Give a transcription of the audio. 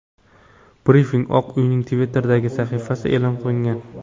Brifing Oq uyning Twitter’dagi sahifasida e’lon qilingan .